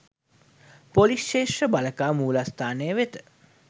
police ක්‍ෂේත්‍ර බළකා මූලස්‌ථානය වෙත